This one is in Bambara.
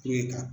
Kule kan